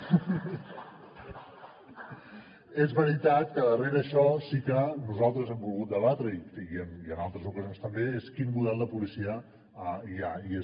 és veritat que darrere d’això sí que nosaltres hem volgut debatre i en altres ocasions també quin model de policia hi ha i és